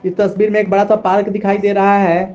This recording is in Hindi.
इस तस्वीर में एक बड़ा सा पार्क दिखाई दे रहा है।